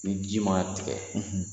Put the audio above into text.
Ni ji ma tigɛ